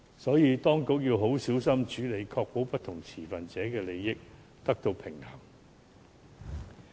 因此，當局要小心處理，確保不同持份者的利益得到平衡。